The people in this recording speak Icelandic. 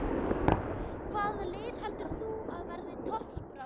Hvaða lið heldur þú að verði í toppbaráttunni?